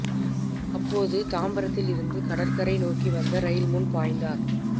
அப்போது தாம்பரத்தில் இருந்து கடற்கரை நோக்கி வந்த ரயில் முன் பாய்ந்தார்